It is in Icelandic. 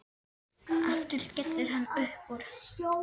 Aftur skellir hann upp úr.